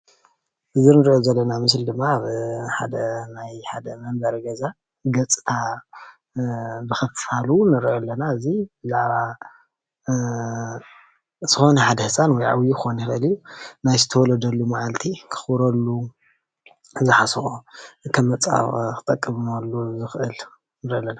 እዚ እንርእዮ ዘለና ምስሊ ድማ ኣብ ናይ ሓደ ናይ መንበሪ ገዛ ገፅታ ብክፋሉ ንረእዩ ኣለና። እዙይ ዝኮነ ሓደ ህፃን ወይ ዓበይ ክኮን ይከእል እዩ። ናይ ዝተወለደሉ መዓልቲ ከክበረሉ ዝሓሰቦ ከም መፀባበቂ ክጠቅምሉ ዝክእል ንርኢ ኣለና።